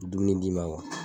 Dumuni di ma